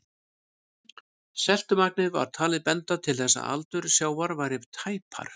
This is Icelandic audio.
Seltumagnið var talið benda til þess að aldur sjávar væri tæpar